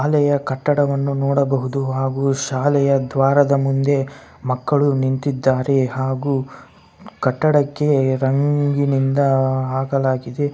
ಹಳೆಯ ಕಟ್ಟಡವನ್ನು ನೋಡಬಹುದು ಹಾಗು ಶಾಲೆಯ ದ್ವಾರದ ಮುಂದೆ ಮಕ್ಕಳು ನಿಂತಿದ್ದಾರೆ ಹಾಗೂ ಕಟ್ಟಡಕ್ಕೆ ರಂಗಿನಿಂದ ಹಾಕಲಾಗಿದೆ.